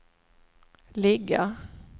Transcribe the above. ligga